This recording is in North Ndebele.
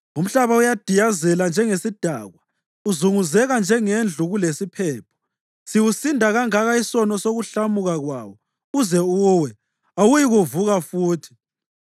Umhlaba udiyazela njengesidakwa, uzunguzeka njengendlu kulesiphepho; siwusinda kangaka isono sokuhlamuka kwawo uze uwe, awuyikuvuka futhi.